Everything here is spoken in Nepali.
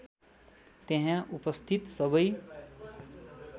त्यहाँ उपस्थित सबै